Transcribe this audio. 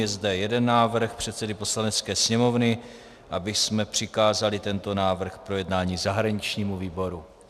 Je zde jeden návrh předsedy Poslanecké sněmovny, abychom přikázali tento návrh k projednání zahraničnímu výboru.